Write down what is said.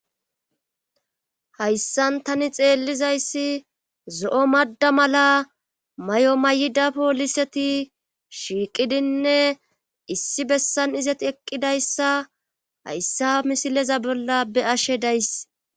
hayssan tani xeellizayssi zo7o madda mala may7o mayida pooliseti shiiqidinne issi bessan izet eqqidayssa hayssa misileza bolla be ashe days